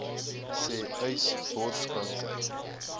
sê uys borskanker